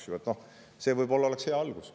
" See oleks võib-olla hea algus.